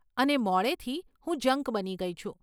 અને મોડેથી, હું જંક બની ગઇ છું.